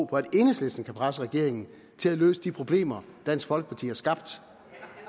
på at enhedslisten kan presse regeringen til at løse de problemer dansk folkeparti har skabt